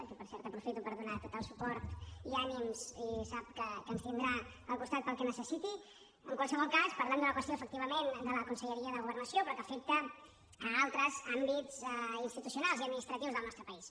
a qui per cert aprofito per donar tot el suport i ànims i sap que ens tindrà al costat pel que necessiti en qualsevol cas parlem d’una qüestió efectivament de la conselleria de governació però que afecta altres àmbits institucionals i administratius del nostre país